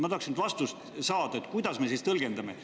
Ma tahan saada vastust, kuidas me seda siis tõlgendame.